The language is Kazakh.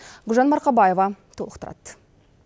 гүлжан марқабаева толықтырады